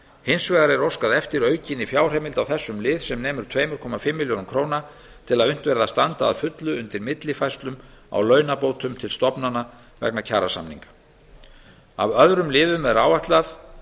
hins vegar er óskað eftir aukinni fjárheimild á þessum lið sem nemur tveimur komma fimm milljörðum króna til að unnt verði að standa að fullu undir millifærslum á launabótum til stofnana vegna kjarasamning af öðrum liðum sem áætlað